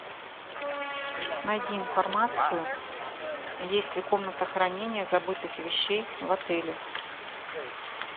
найди информацию есть ли комната хранения забытых вещей в отеле